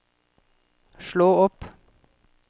slå opp